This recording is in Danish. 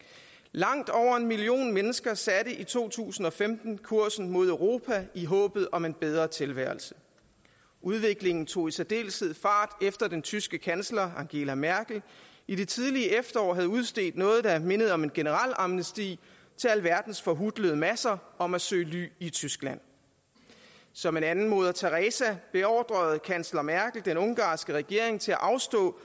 langt over en million mennesker satte i to tusind og femten kursen mod europa i håbet om en bedre tilværelse udviklingen tog i særdeleshed fart efter at den tyske kansler angela merkel i det tidlige efterår havde udstedt noget der lignede om en generel amnesti til alverdens forhutlede masser om at søge ly i tyskland som en anden moder teresa beordrede kansler merkel den ungarske regering til at afstå